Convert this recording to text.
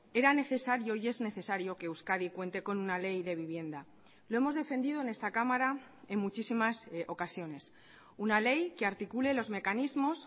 era necesario y es necesario que euskadi cuente con una ley de vivienda lo hemos defendido en esta cámara en muchísimas ocasiones una ley que articule los mecanismos